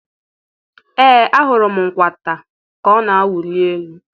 Ee ahụrụ m nkwata ka ọ na-awụli elu.